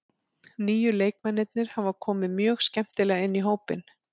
Nýju leikmennirnir hafa komið mjög skemmtilega inn í hópinn.